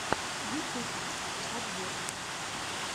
ютуб подборки